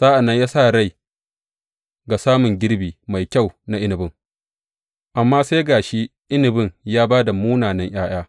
Sa’an nan ya sa rai ga samun girbi mai kyau na inabin, amma sai ga shi inabin ya ba da munanan ’ya’ya.